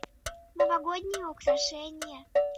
новогодние украшения